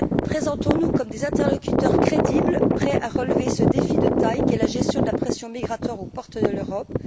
Présentons nous comme des interlocuteurs crédibles prêts à relever ce défi de taille qu'est la gestion de la pression migratoire aux portes de l'Europe.